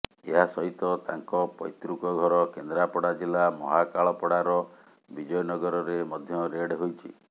ଏହାସହିତ ତାଙ୍କ ପୈତୃକ ଘର କେନ୍ଦ୍ରାପଡ଼ା ଜିଲ୍ଲା ମହାକାଳପଡ଼ାର ବିଜୟନଗରରେ ମଧ୍ୟ ରେଡ୍ ହୋଇଛି